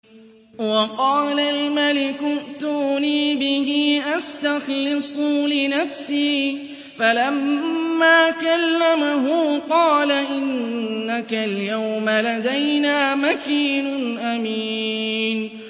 وَقَالَ الْمَلِكُ ائْتُونِي بِهِ أَسْتَخْلِصْهُ لِنَفْسِي ۖ فَلَمَّا كَلَّمَهُ قَالَ إِنَّكَ الْيَوْمَ لَدَيْنَا مَكِينٌ أَمِينٌ